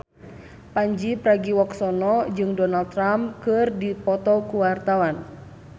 Pandji Pragiwaksono jeung Donald Trump keur dipoto ku wartawan